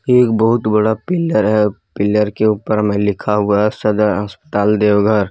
एक बहुत बड़ा पिलर है पिलर के ऊपर में लिखा हुआ हैसदर अस्पताल देवघर।